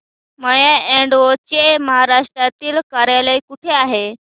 माय Advo चे महाराष्ट्रातील कार्यालय कुठे आहे